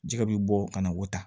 Jɛgɛ bɛ bɔ ka na o ta